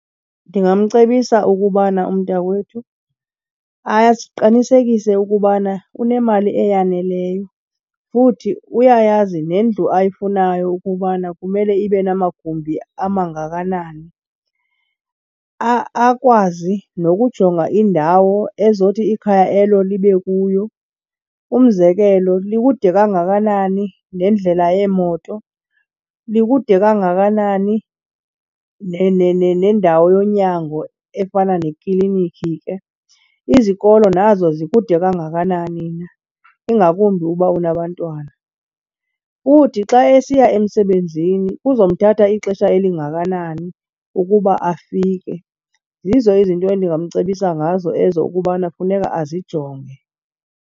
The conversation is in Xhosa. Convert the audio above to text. Ndingamcebisa ukubana umntakwethu aqinisekise ukubana unemali eyaneleyo futhi uyayazi nendlu ayifunayo ukubana kumele ibe namagumbi amangakanani. Akwazi nokujonga indawo ezothi ikhaya elo libe kuyo. Umzekelo, likude kangakanani nendlela yeemoto? Likude kangakanani nendawo yonyango efana neklinikhi ke? Izikolo nazo zikude kangakanani na, ingakumbi uba unabantwana? Futhi xa esiya emsebenzini kuzomthatha ixesha elingakanani ukuba afike. Zizo izinto endingamcebisa ngazo ezo ukubana funeka azijonge.